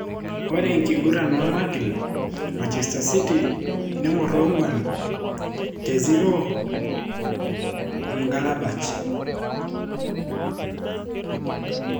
Ore enkiguran omagil:Manchester city 4-0 M'gladbach